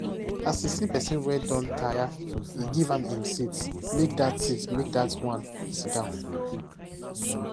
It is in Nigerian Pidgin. as he see person wey don tire e give am him seat make that seat make that one siddon